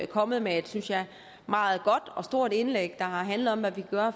kommet med et synes jeg meget godt og stort indlæg der handler om hvad vi kan gøre